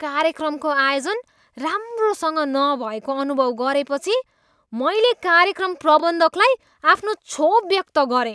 कार्यक्रमको आयोजन राम्रोसँग नभएको अनुभव गरेपछि मैले कार्यक्रम प्रबन्धकलाई आफ्नो क्षोभ व्यक्त गरेँ।